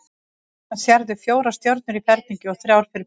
Og þarna sérðu fjórar stjörnur í ferningi og þrjár fyrir framan.